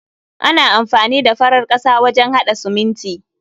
Ana amfani da farar ƙasa wajen haɗa siminti.